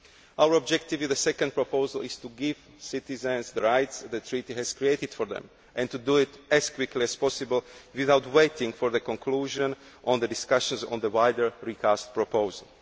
Our objective with the second proposal is to give citizens the rights the Treaty has created for them, and to do so as quickly as possible without waiting for the conclusion of the discussions on the wider recast proposal.